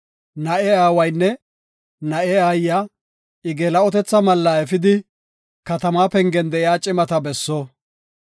na7e aawaynne na7e aayiya I geela7otetha malla efidi, katamaa pengen de7iya cimata besso.